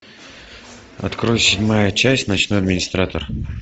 открой седьмая часть ночной администратор